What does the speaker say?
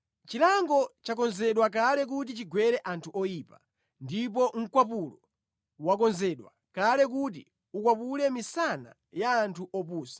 Chilango chakonzedwa kale kuti chigwere anthu oyipa, ndipo mkwapulo wakonzedwa kale kuti ukwapule misana ya anthu opusa.